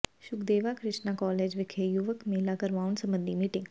Shukdeva Krishna college ਵਿਖੇ ਯੁਵਕ ਮੇਲਾ ਕਰਵਾਉਣ ਸਬੰਧੀ ਮੀਟਿੰਗ